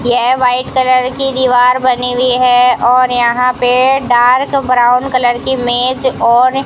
ये white colour की दीवार बनी हुई है और यहां पे डार्क ब्राउन कलर की मेज और --